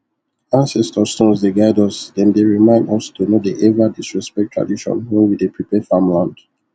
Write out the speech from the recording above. ancestor stones dey guide us them dey remind us to no dey ever disrespect tradition when we dey prepare farmland